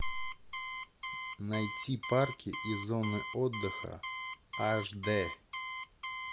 найти парки и зоны отдыха аш д